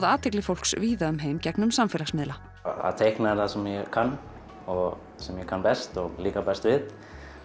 athygli fólks víða um heim gegnum samfélagsmiðla að teikna er það sem ég kann og sem ég kann best og líkar best við